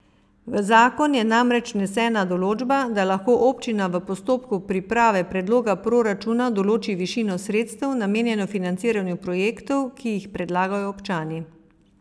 V zakon je namreč vnesena določba, da lahko občina v postopku priprave predloga proračuna določi višino sredstev, namenjeno financiranju projektov, ki jih predlagajo občani.